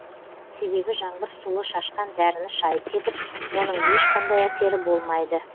себебі жаңбыр суы шашқан дәріні шайып кетіп оның ешқандай әсері болмайды